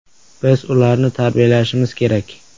Biz ularni tarbiyalashimiz kerak.